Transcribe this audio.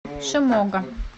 шимога